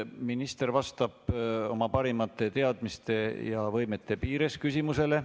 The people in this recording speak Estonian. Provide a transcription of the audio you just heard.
Minister vastab oma parimate teadmiste ja võimete piires küsimusele.